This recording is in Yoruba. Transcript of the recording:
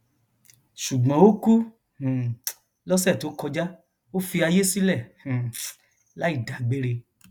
ṣùgbọn ó kú um lọsẹ tó kọjá ó fi àyè sílẹ um láì dágbére